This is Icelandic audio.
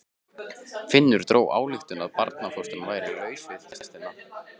Finnur dró þá ályktun að barnfóstran væri laus við pestina.